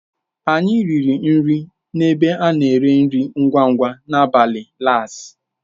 Anyị riri nri n'ebe a na-ere nri ngwa ngwa n'abalị Lass.